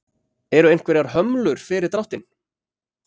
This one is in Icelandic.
Eru einhverjar hömlur fyrir dráttinn?